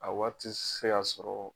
A waati se ka sɔrɔ